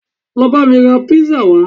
Lọ bá mi rà pizza wá